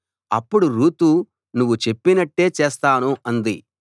అప్పుడు రూతు నువ్వు చెప్పినట్టే చేస్తాను అంది